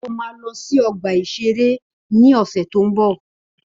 Ó ma lọ sí ọgbà-ìṣeré ni ọ̀sẹ̀ tó ń bọ̀